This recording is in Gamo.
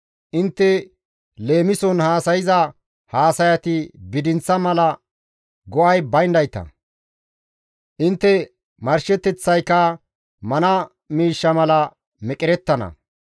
Intte leemison haasayza haasayati bidinththa mala go7ay bayndayta; intte marsheteththayka mana miishsha mala meqerettana.